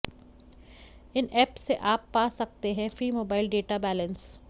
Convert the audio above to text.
इन app से आप पा सकते हैं फ्री मोबाईल डेटा बैलेंस